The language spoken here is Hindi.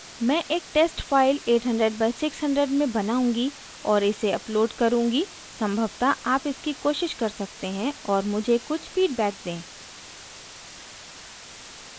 मैं एक test फाइल 800/600 में बनाऊँगी और इसे upload करुँगी संभवतः आप इसकी कोशिश कर सकते हैं और मुझे कुछ फीडबैक दें